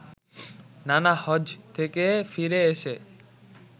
নানা হজ্ব থেকে ফিরে এসে